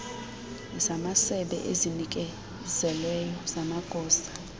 zamasebe ezizinikezeleyo namagosa